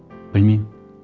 білмеймін